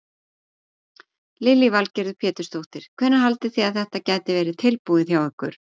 Lillý Valgerður Pétursdóttir: Hvenær haldið þið að þetta geti verið tilbúið hjá ykkur?